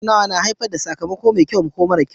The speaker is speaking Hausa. Tattaunawa na iya haifar da sakamako mai kyau ko mara kyau